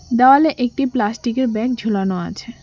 দেওয়ালে একটি প্লাস্টিক -এর ব্যাগ ঝুলানো আছে।